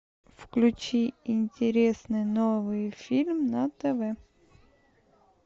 включи интересный новый фильм на тв